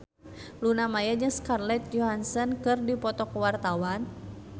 Luna Maya jeung Scarlett Johansson keur dipoto ku wartawan